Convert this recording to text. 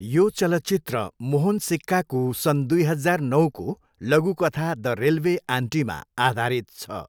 यो चलचित्र मोहन सिक्काको सन् दुई हजार नौको लघुकथा द रेलवे आन्टीमा आधारित छ।